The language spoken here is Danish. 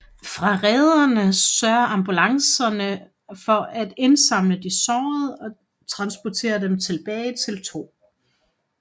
Fra rederne sørger ambulancer for at indsamle de sårede og transportere dem tilbage til 2